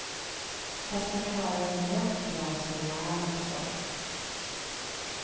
Fast jag klarar mig rätt bra som jag är också.